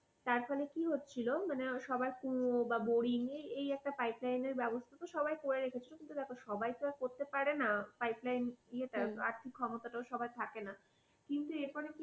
তারপরে কি হচ্ছিল মানে সবার কুয়ো বা boring এই একটা পাইপ লাইনের ব্যবস্থা তো সবাই করে রেখেছিল দেখো সবাই তো আর করতে পারে না। পাইপলাইন ইয়েটা আর্থিক ক্ষমতাটাও সবার থাকে না কিন্তু এখানে